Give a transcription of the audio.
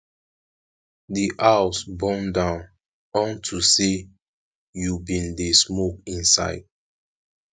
the house burn down unto say you bin dey smoke inside